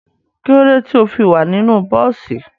Kílódé tí o fi wà nínú bọ́ọ́sì?